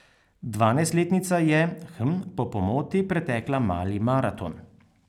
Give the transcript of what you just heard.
Dvanajstletnica je, hm, po pomoti pretekla mali maraton.